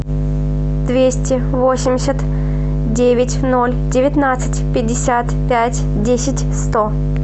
двести восемьдесят девять ноль девятнадцать пятьдесят пять десять сто